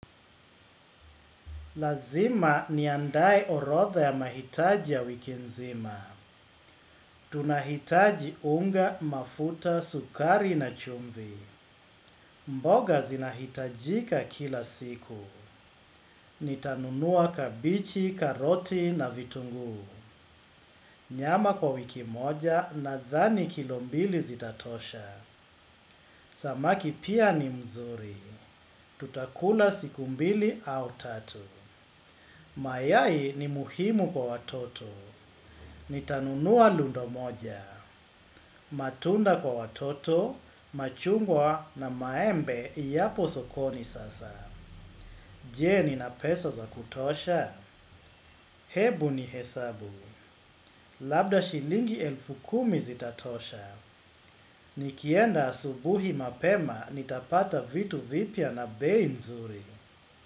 Lazima ni andae orotha ya mahitaji ya wiki nzima. Tunahitaji unga, mafuta, sukari na chumvi. Mboga zinahitajika kila siku. Nitanunua kabichi, karoti na vitungu. Nyama kwa wiki moja na dhani kilombili zitatosha. Samaki pia ni mzuri. Tutakula siku mbili au tatu. Mayai ni muhimu kwa watoto. Ni tanunua lundo moja, matunda kwa watoto, machungwa na maembe ya posokoni sasa. Je ni na pesa za kutosha? Hebu ni hesabu, labda shilingi elfu kumi zitatosha. Nikienda asubuhi mapema nitapata vitu vipya na beinzuri.